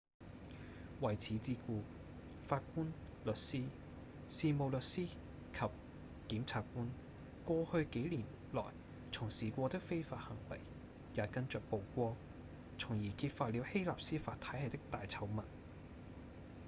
為此之故法官、律師、事務律師及檢察官過去幾年來從事過的非法行為也跟著曝光從而揭發了希臘司法體系的大醜聞